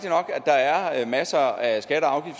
der er masser af